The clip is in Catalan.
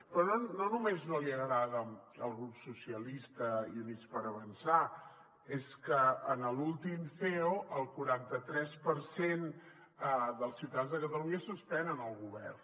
però no només no li agrada al grup socialistes i units per avançar és que en l’últim ceo el quaranta tres per cent dels ciutadans de catalunya suspenen el govern